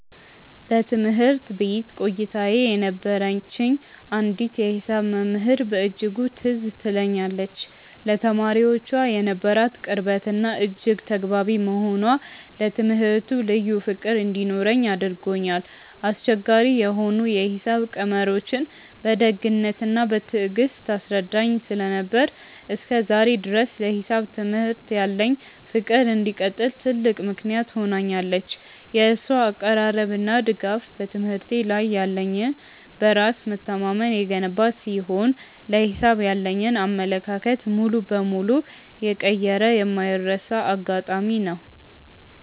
በትምህርት ቤት ቆይታዬ የነበረችኝ አንዲት የሂሳብ መምህር በእጅጉ ትዝ ትለኛለች፤ ለተማሪዎቿ የነበራት ቅርበትና እጅግ ተግባቢ መሆኗ ለትምህርቱ ልዩ ፍቅር እንዲኖረኝ አድርጎኛል። አስቸጋሪ የሆኑ የሂሳብ ቀመሮችን በደግነትና በትዕግስት ታስረዳኝ ስለነበር፣ እስከ ዛሬ ድረስ ለሂሳብ ትምህርት ያለኝ ፍቅር እንዲቀጥል ትልቅ ምክንያት ሆናኛለች። የእሷ አቀራረብና ድጋፍ በትምህርቴ ላይ ያለኝን በራስ መተማመን የገነባ ሲሆን፣ ለሂሳብ ያለኝን አመለካከት ሙሉ በሙሉ የቀየረ የማይረሳ አጋጣሚ ነው።